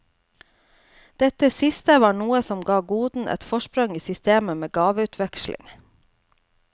Dette siste var noe som ga goden et forsprang i systemet med gaveutveksling.